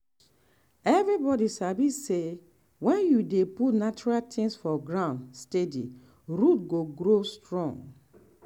everybody sabi say when you dey put natural things for ground steady root go grow strong.